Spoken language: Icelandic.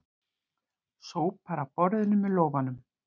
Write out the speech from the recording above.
Sópar af borðinu með lófanum.